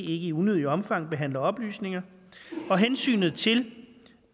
i unødigt omfang behandler oplysninger og hensynet til